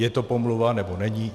Je to pomluva, nebo není?